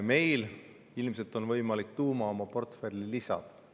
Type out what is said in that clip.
Meil on ilmselt võimalik tuum oma portfelli lisada.